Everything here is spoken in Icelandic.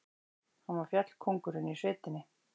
Hann var fjallkóngurinn í sveitinni.